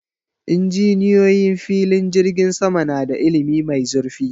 Injiniyoyi filin jirgin sama na da ilimi mai zurfi